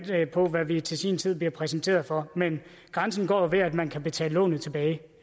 på hvad vi til sin tid bliver præsenteret for men grænsen går ved at man kan betale lånet tilbage